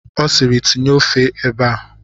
Ọ siiri, tinye ofe ebe a!